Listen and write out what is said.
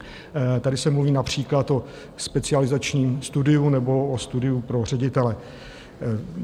Tady se mluví například o specializačním studiu nebo o studiu pro ředitele.